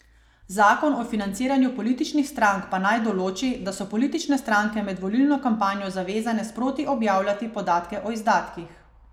Zakon o financiranju političnih strank pa naj določi, da so politične stranke med volilno kampanjo zavezane sproti objavljati podatke o izdatkih.